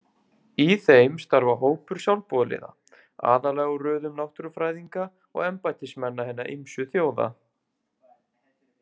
Í þeim starfa hópur sjálfboðaliða, aðallega úr röðum náttúrufræðinga og embættismanna hinna ýmsu þjóða.